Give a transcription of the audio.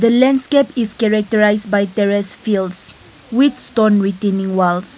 the landscape is characterized by terrace fields which stone written in walls.